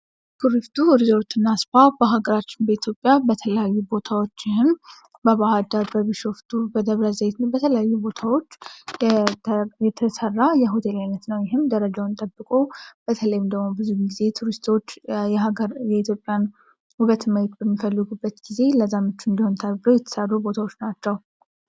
ኩሪፍቱ ሪዞርትና ስፓ በሀገራችን በተለያዩ ቦታዎች በባህር ዳር በቢሾፍቱ በደብረ ዘይትና በተለያዩ ቦታዎች የተሰራ ይሆናል ይህም ደረጃውን የጠበቀ በተለይም ደግሞ ብዙ ጊዜ ቱሪስቶች የኢትዮጵያን ውበት ማየት በሚፈልጉበት ጊዜ ለዛ እንዲሆን ተብሎ የተሰሩ ቦታዎች ናቸው።